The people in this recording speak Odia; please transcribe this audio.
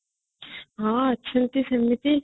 ହଁ ଅଛନ୍ତି ସେମିତି